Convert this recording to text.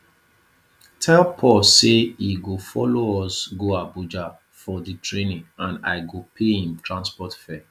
tell paul say he go follow us go abuja for the the training and i go pay him transport fare